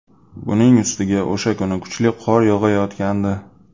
Buning ustiga o‘sha kuni kuchli qor yog‘ayotgandi.